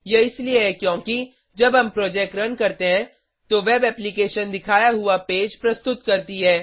यह इसलिए है क्योंकि जब हम प्रोजेक्ट रन करते हैं तो वेब एप्लीकेशन दिखाया हुआ पेज प्रस्तुत करती है